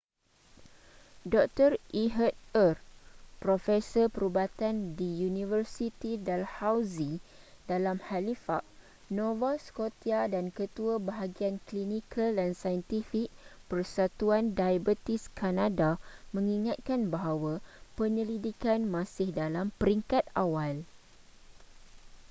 dr ehud ur profesor perubatan di university dalhousie dalam halifax nova scotia dan ketua bahagian klinikal dan saintifik persatuan diabetes kanada mengingatkan bahawa penyelidikan masih dalam peringkat awal